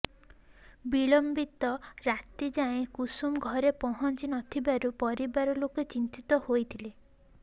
ବିଳମ୍ବିତ ରାତି ଯାଏଁ କୁସୁମ ଘରେ ପହଞ୍ଚି ନଥିବାରୁ ପରିବାର ଲୋକେ ଚିନ୍ତିତ ହୋଇଥିଲେ